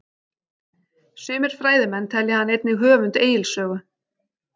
Sumir fræðimenn telja hann einnig höfund Egils sögu.